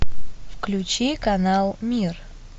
включи канал мир